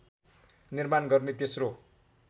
निर्माण गर्ने तेस्रो